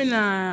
Bi na